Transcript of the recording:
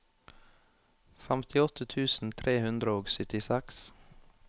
femtiåtte tusen tre hundre og syttiseks